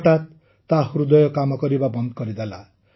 ହଠାତ୍ ତା ହୃଦୟ କାମ କରିବା ବନ୍ଦ କରିଦେଲା